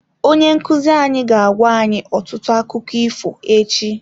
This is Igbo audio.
Onye nkuzi anyị ga-agwa anyị ọtụtụ akụkọ ifo echi.